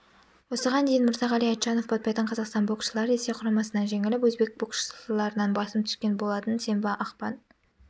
осыған дейін мырзағали айтжанов баптайтын қазақстан боксшылары ресей құрамасынан жеңіліп өзбек боксшыларынан басым түскен болатын сенбі ақпан